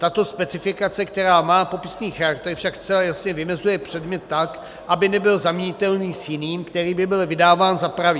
Tato specifikace, která má popisný charakter, však zcela jasně vymezuje předmět tak, aby nebyl zaměnitelný s jiným, který by byl vydáván za pravý.